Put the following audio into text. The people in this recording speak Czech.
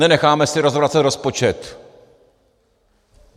Nenecháme si rozvracet rozpočet.